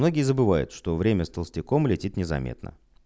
многие забывают что время с толстяком летит незаметно